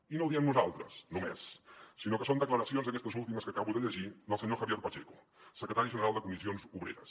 i no ho diem nosaltres només sinó que són declaracions aquestes últimes que acabo de llegir del senyor javier pacheco secretari general de comissions obreres